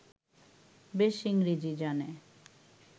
বেশ ইংরেজী জানে